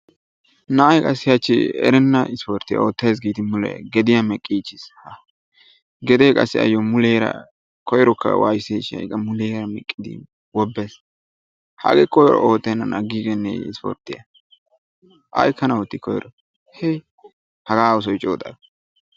Na"a qassi hachchi erenna ispporttiya oottayis giidi mule gediya meqqiichchis. Gedee qassi ayyo koyrokka waysseesi shin ha"i qa muleera meqqidi wobbes hagee koyro oottennan aggiigenneeyye ispporttiya aykkana ootti koyiro hii hagaa oosoy coo xayo.